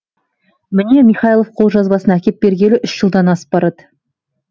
міне михайлов қолжазбасын әкеп бергелі үш жылдан асып барады